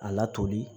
A latoli